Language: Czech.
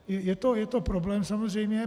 Je to problém samozřejmě.